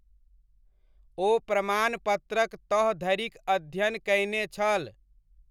ओ प्रमाणपत्रक तह धरिक अध्ययन कयने छल।